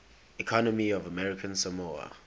economy of american samoa